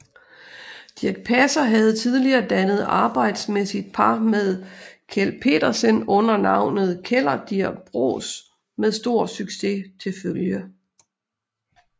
Dirch Passer havde tidligere dannet arbejdsmæssigt par med Kjeld Petersen under navnet Kellerdirk Bros med stor succes til følge